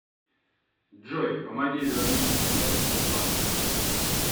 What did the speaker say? джой помоги вернуть смс от банка